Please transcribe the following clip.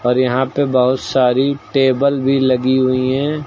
और यहां पे बहुत सारी टेबल भी लगी हुई है।